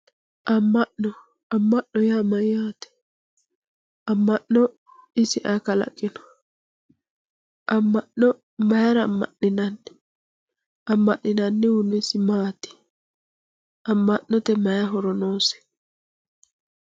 amma'no amma'note yaa mayyaate amma'no isi ayi kalaqino amma'no mayira amma'ninanni amma'ninannihuno isi maati amma'note may horo noose.